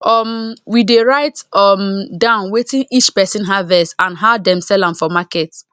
um we dey write um down wetin each person harvest and how dem sell am for market